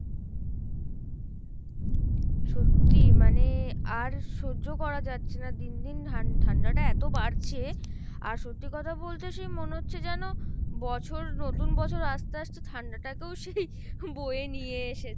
সত্যি মানে আর সহ্য করা যাচ্ছে না, দিন দিন ঠান~ ঠাণ্ডা টা এতো বারছে আর সত্যি কথা বলতে সে মনে হচ্ছে যেন বছর নতুন বছর আসতে আসতে ঠাণ্ডা টাকেও সেই বোয়ে নিয়ে এসেছে।